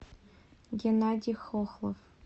геннадий хохлов